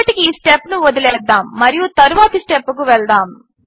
ఇప్పటికి ఈ స్టెప్ను వదిలేద్దాము మరియు తరువాతి స్టెప్కు వెళ్దాము